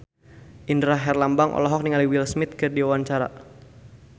Indra Herlambang olohok ningali Will Smith keur diwawancara